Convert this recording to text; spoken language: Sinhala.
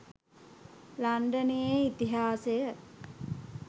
ලන්ඩනයේ ඉතිහාසය